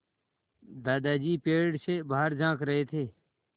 दादाजी पेड़ से बाहर झाँक रहे थे